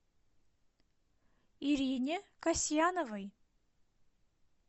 ирине касьяновой